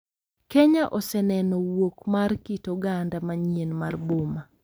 Kenya oseneno wuok mar kit oganda manyien mar boma